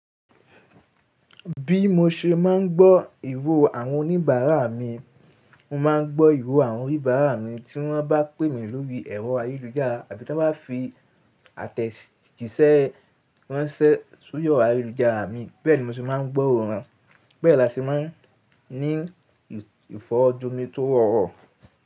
Bí mo ṣe máa ń gbọ́ ìro àwọn oníbàárà mi, mo máa ń gbọ́ ìro àwọn oníbàárà mi tí wọ́n bá pè mi lórí ẹ̀rọ ayélujára àbí tí wọ́n bá fi àtẹ̀jíṣẹ́ wọ́n ṣẹ́ sún yọ ayélujára mi. Bẹ́ẹ̀ ni mo ṣe máa ń gburó wọn, bẹ́ẹ̀ la ṣe máa ń ní ìfọ̀jú mi tó rọrọ.